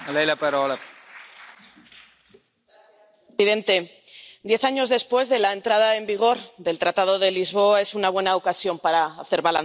Señor presidente, diez años después de la entrada en vigor del Tratado de Lisboa, esta es una buena ocasión para hacer balance.